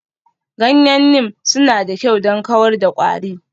Ganyen Neem suna da kyau don kawar da kwari.